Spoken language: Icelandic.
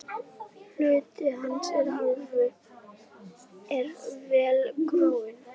Hluti hans er vel gróinn.